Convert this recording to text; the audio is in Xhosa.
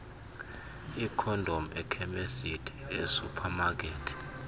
iikhondom ekhemisti esuphamakethi